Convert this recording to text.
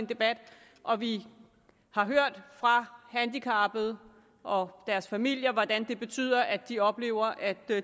debat og vi har hørt fra handicappede og deres familier at det betyder at de oplever at